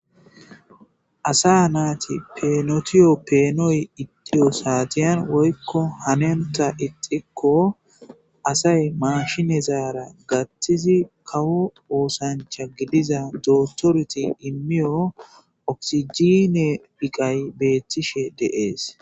asa naati peenotiyo peenoy iddiyo saatiyan woykko hanenta ixikko asay mashinezaara gattizi kawo oosancha gidiza dootoreti immiyo oksijine phiqay beettishe de7ees